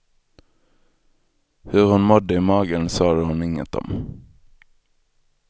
Hur hon mådde i magen sade hon inget om.